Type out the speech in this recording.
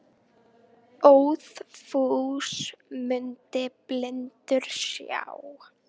Óðfús mundi blindur sjá.